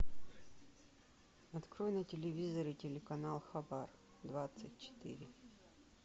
открой на телевизоре телеканал хабар двадцать четыре